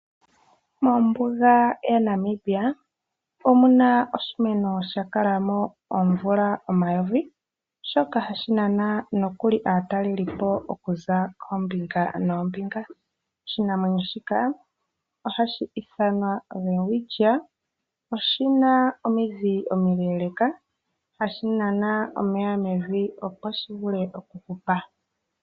Mombuga yaNamibia omuna oshimeno sha kalamo oomvula omayovi shoka hashi nana nokuli aatalelipo okuza koombinga noombinga . Oshimeno shika ohashi ithanwa Welwitshia . Oshina na omidhi omile , ohashi nana omeya mevi opo dhivule okuhupa.